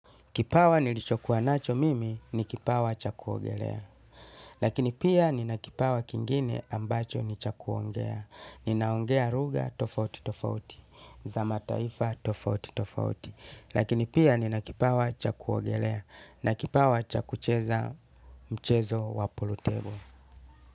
Kipawa nilichokuwa nacho mimi ni kipawa cha kuogelea. Lakini pia nina kipawa kingine ambacho ni cha kuongea. Ninaongea lugha tofauti tofauti za mataifa tofauti tofauti. Lakini pia nina kipawa cha kuogelea na kipawa cha kucheza mchezo wa pulutebo.